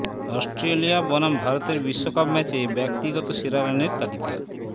Australia বনাম ভারতের বিশ্বকাপ ম্যাচে ব্যক্তিগত সেরা রানের তালিকা